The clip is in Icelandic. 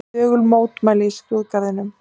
Þögul mótmæli í skrúðgarðinum